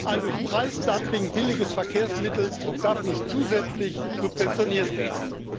Ein durch Preisdumping billiges Verkehrsmittel darf nicht zusätzlich subventioniert werden.